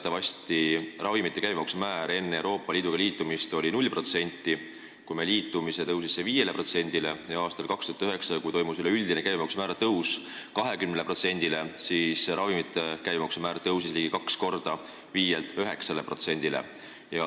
Teatavasti oli ravimite käibemaksu määr enne meie Euroopa Liiduga liitumist null protsenti, kui me liitusime, tõusis see 5%-le ja aastal 2009, kui toimus üleüldine käibemaksu määra tõus 20%-le, tõusis ravimite käibemaksu määr ligi kaks korda, 5%-lt 9%-le.